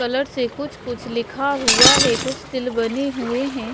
Colour से कुछ कुछ लिखा हुआ है कुछ दिल बने हुए हैं।